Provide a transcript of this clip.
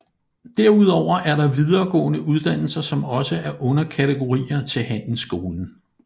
Derudover er der videregående uddannelser som også er underkategorier til handelsskolen